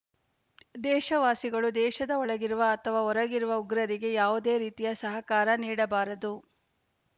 ದೇಶವಾಸಿಗಳು ದೇಶದ ಒಳಗಿರುವ ಅಥವಾ ಹೊರಗಿರುವ ಉಗ್ರರಿಗೆ ಯಾವುದೆ ರೀತಿಯ ಸಹಕಾರ ನೀಡಬಾರದು